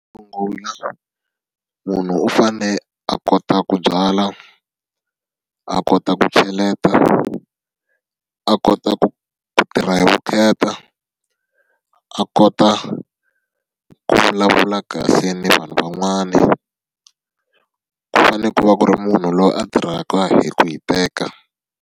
Xo sungula munhu u fanele a kota ku byala, a kota ku cheleta, a kota ku ku tirha hi vukheta, a kota ku vulavula kahle na vanhu van'wana. Ku fanele ku va ku ri munhu loyi a tirhaka hi ku hiteka.